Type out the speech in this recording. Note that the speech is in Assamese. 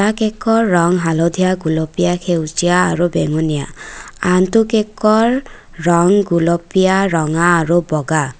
কেকৰ ৰং হালধীয়া গুলপীয়া সেউজীয়া আৰু বেঙুনীয়া আনটো কেকৰ ৰং গুলপীয়া ৰঙা আৰু বগা।